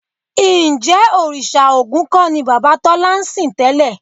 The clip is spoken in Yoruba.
Ǹjẹ́ òrìṣà Ògún kọ́ ni bàbá Tọ́lá ń sìn tẹ́lẹ̀?